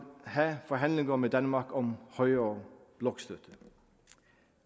have forhandlinger med danmark om højere blokstøtte